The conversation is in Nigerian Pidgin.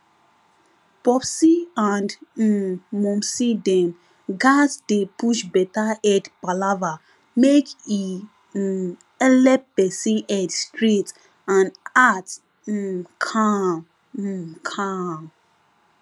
popsi and um momsi dem gatz dey push better head palava make e um helep person head straight and heart um calm um calm